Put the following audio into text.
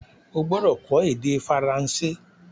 O gbọ́dọ̀ kó ède Faransé